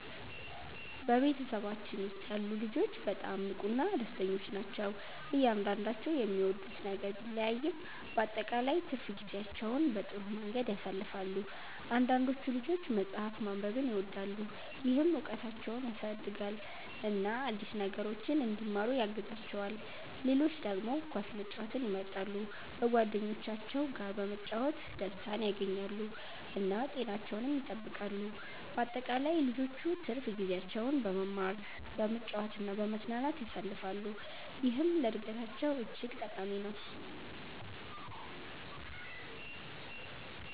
በቤተሰባችን ውስጥ ያሉ ልጆች በጣም ንቁና ደስተኞች ናቸው። እያንዳንዳቸው የሚወዱት ነገር ቢለያይም በአጠቃላይ ትርፍ ጊዜያቸውን በጥሩ መንገድ ያሳልፋሉ። አንዳንዶቹ ልጆች መጽሐፍ ማንበብን ይወዳሉ፣ ይህም እውቀታቸውን ያሳድጋል እና አዲስ ነገሮችን እንዲማሩ ያግዛቸዋል። ሌሎች ደግሞ ኳስ መጫወትን ይመርጣሉ፣ በጓደኞቻቸው ጋር በመጫወት ደስታን ያገኛሉ እና ጤናቸውንም ይጠብቃሉ። በአጠቃላይ ልጆቹ ትርፍ ጊዜያቸውን በመማር፣ በመጫወት እና በመዝናናት ያሳልፋሉ፣ ይህም ለእድገታቸው እጅግ ጠቃሚ ነው።